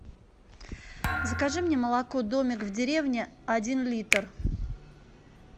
закажи мне молоко домик в деревне один литр